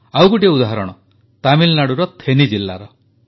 ଆଉ ଗୋଟିଏ ଉଦାହରଣ ତାମିଲନାଡୁର ଥେନି ଜିଲ୍ଲାର